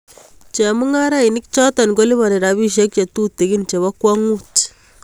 Chemung'arainik choto kolipani rabisiek chetutugin chebo kwang'ut.